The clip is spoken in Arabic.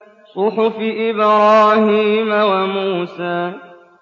صُحُفِ إِبْرَاهِيمَ وَمُوسَىٰ